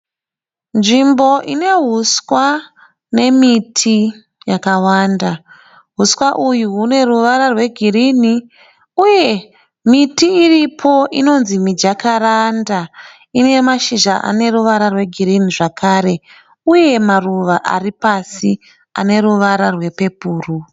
Nzvimbo ine huswa nemiti yakawanda . Huswa uyu une ruvara rwe girinhi. Uye miti iripo inonzi miJakaranda ine mashizha ane ruvara rwe gurinhi zvekare . Uye maruva ari pasi ane ruvara rwe pepuru .